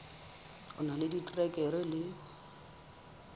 o na le diterekere le